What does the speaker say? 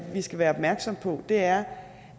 vi skal være opmærksom på er